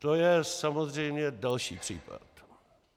To je samozřejmě další případ.